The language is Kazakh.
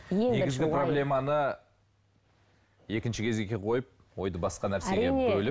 негізгі проблеманы екінші кезекке қойып ойды басқа нәрсеге